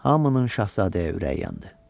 Hamının şahzadəyə ürəyi yandı.